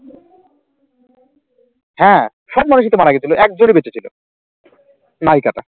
হ্যাঁ সব মানুষই তো মারা গেছিল একজনই বেঁচে ছিল নায়িকাটা